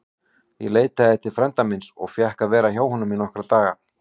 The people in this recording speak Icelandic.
Ég leitaði til frænda míns og fékk að vera hjá honum í nokkra daga.